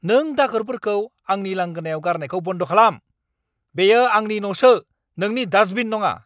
नों दाखोरफोरखौ आंनि लांगोनायाव गारनायखौ बन्द खालाम। बेयो आंनि न'सो, नोंनि दास्टबिन नङा!